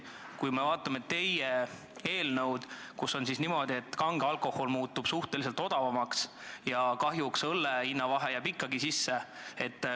Kui me vaatame teie eelnõu, siis näeme, et kange alkohol muutub suhteliselt odavamaks ja kahjuks õlle hinna vahe jääb ikkagi sisse.